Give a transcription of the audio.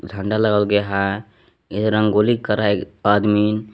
झंडा लगा हुआ गया है इधर रंगोली कर रहा है आदमीन ।